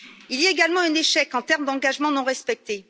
Il y a également un échec en termes d'engagements non respectés.